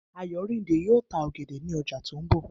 Ayorinde yóò ta ọ̀gẹ̀dẹ̀ ní ọjà tó ń bọ̀.